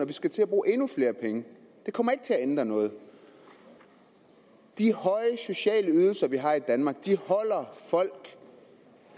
vi skal til at bruge endnu flere penge det kommer ikke til at ændre noget de høje sociale ydelser vi har i danmark holder folk